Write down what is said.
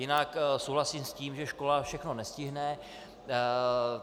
Jinak souhlasím s tím, že škola všechno nestihne.